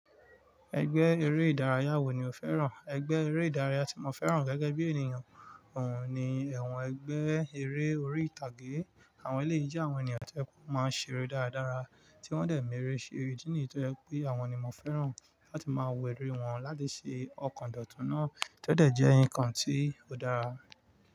Ẹgbẹ́ eré ìdárayá wo ni o fẹ́ràn? Ẹgbẹ́ eré ìdárayá tí mo fẹ́ràn gẹ́gẹ́ bí ènìyàn oun ní ẹ̀wọ̀n ẹgbẹ́ eré orí ìtàgé. Àwọn eléyii je àwọn ènìyàn tó je pe o máa ń ṣere dáradára, tí wọ́n dẹ̀ m'eré ṣe. Idí nìyi tó jẹ pé àwọn ni mo fẹ́ràn láti máa wo eré wọn láti ṣe ọkọ̀dọ̀tún náà to dẹ̀ jẹ́ nǹkan tí ó dára.